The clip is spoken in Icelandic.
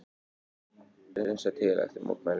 Hreinsað til eftir mótmælin